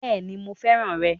Bẹ́ẹ̀ni mo fẹ́ràn rè